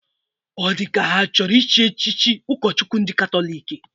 Ọ dịka ka ha achọrọ ịchị echichi ụkọchukwu ndị Katọlik?